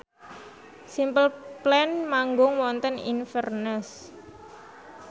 Simple Plan manggung wonten Inverness